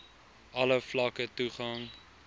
alle vlakke toegang